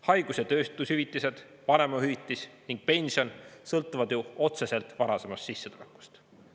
Haigus- ja töötushüvitised, vanemahüvitis ning pension sõltuvad ju otseselt varasemast sissetulekust.